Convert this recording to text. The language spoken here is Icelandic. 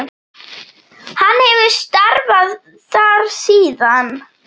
Hann hefur starfað þar síðan.